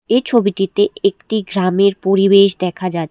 এই ছবিটিতে একটি গ্রামের পরিবেশ দেখা যা--